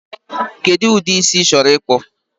Kedu ụdị isi ichoro ịkpụ?